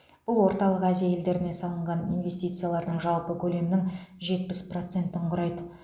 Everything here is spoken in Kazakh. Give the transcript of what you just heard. бұл орталық азия елдеріне салынған инвестициялардың жалпы көлемінің жетпіс процентін құрайды